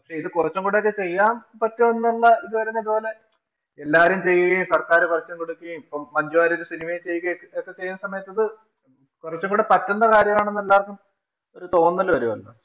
ഇത് കൊറച്ചും കൂടെ ഒക്കെ ചെയ്യാം പറ്റുമെന്നുള്ള ഇത് വരുമ്പോ ഇതുപോലെ എല്ലാരും ചെയ്യുകയും, സര്‍ക്കാര് കൊറച്ചും കൂടൊക്കെ, ഇപ്പം മഞ്ജു വാര്യര് cinema ചെയ്യുകയും ഒക്കെ ചെയ്ത സമയത്ത് ഇത് കൊറച്ചും കൂടെ പറ്റുന്ന കാര്യമാണ് എന്ന് എല്ലാര്‍ക്കും ഒരു തോന്നല് വരുവല്ലോ.